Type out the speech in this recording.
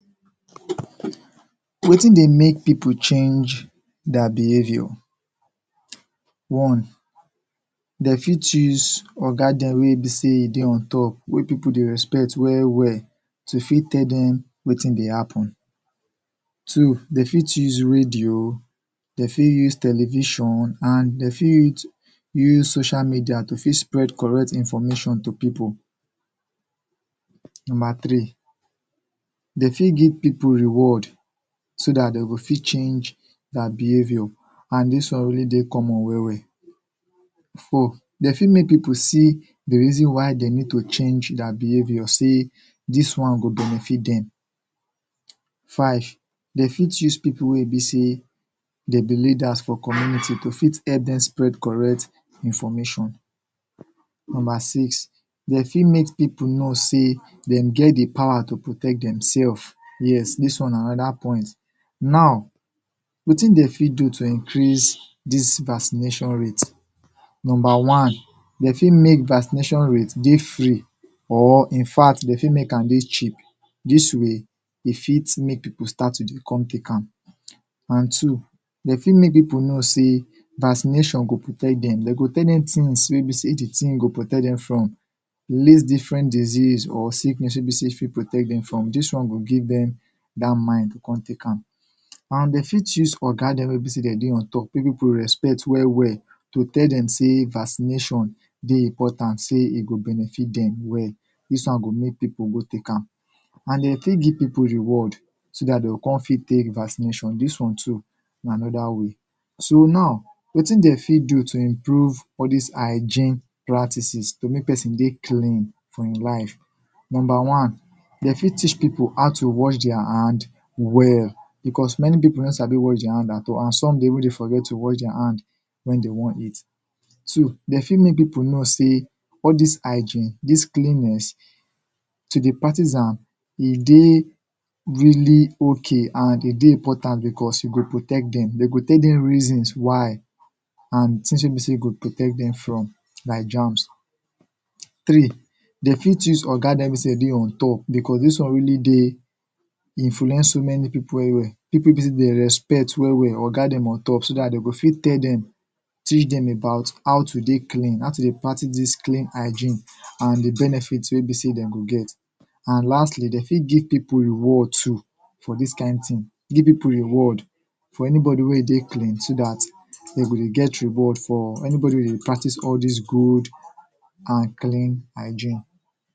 Wetin dey mek people change their behaviour one Dem fit use Oga dem wey be sey dem dey on top, wey people dey respect well well to fit tell dem wetin dey happen Two. Dem fit use radio, dem fit use television, and dem fit use social media to tek spread correct information to people nnumber three Dem fit give people reward so dat dem go fit change their behavior and dis one only dey common well well Four. Dem fit mek people see di reason why dem need to change dia behavior sey dis wan go benefit dem Five. Dem fit use people wey be sey, dem be leaders for community to fit help dem spread correct information Number six. Dem fit mek people know sey dem get di power to protect them selves Yes, dis wan na anoda point. Now, wetin dem fit do to increase dis vaccination rate? Number one. Dem fit mek dis vaccination rate dey free or infact, dem fit mek am dey cheap dis way, e fit mek people dem start to dey tek am And two Dem fit mek people know sey vaccination go protect dem Dem go tell them things wey he sey the thing go protect them from List different disease or sickness wey be sey the vaccine go protect dem from Dis one go give dem dat mind to come tek am And dem fit use Oga dem wey be sey dem dey on top wey people respect well well, go tell dem sey vaccination dey important dey e go benefit dem well dis one go mek people go tek am And dem fit give people reward so dat dem go come fit tek vaccination Dis one too, na anoda way So now, wetin dem fit do to improve all dis hygiene practices? To mek person dey clean for e life? Number one. Dem fit teach people how to wash their hands well because many people no Sabi wash their hands at all and some dey even dey forget to wash their hands when dem wan eat So, dem fit mek people know sey all dis hygiene, dis cleanliness, to dey practice am e dey really okay and e dey important because e go protect dem, dem go tell dem reasons why and the things wey be sey e go protect dem from like germs Three. Dem fit use Oga wey be sey dem dey on top because dis one really dey influence so many people well well People wey be sey dem respect well well, Oga wey be sey dem dey on top So dat dem go fit tell dem teach dem about how to dey clean, how to dey practice dis clean hygiene and di benefits wey dey be sey dem go get And lastly, dem fit give people reward too For dis kind thing, give people reward anybody wey dey clean, so dat dem go get reward, anybody wey dey practice dis good and clean hygiene